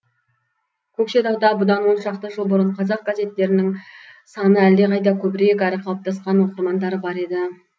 көкшетауда бұдан оншақты жыл бұрын қазақ газеттерінің саны әлдеқайда көбірек әрі қалыптасқан оқырмандары да бар еді